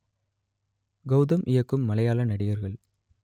கௌதம் இயக்கும் மலையாள நடிகர்கள்